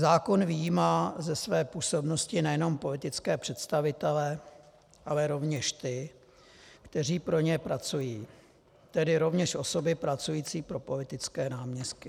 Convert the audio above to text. Zákon vyjímá ze své působnosti nejen politické představitele, ale rovněž ty, kteří pro ně pracují, tedy rovněž osoby pracující pro politické náměstky.